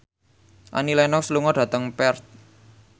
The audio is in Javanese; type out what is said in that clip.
Annie Lenox lunga dhateng Perth